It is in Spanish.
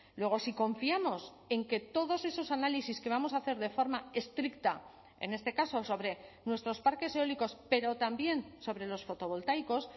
luego si confiamos en que todos esos análisis que vamos a hacer de forma estricta en este caso sobre nuestros parques eólicos pero también sobre los fotovoltaicos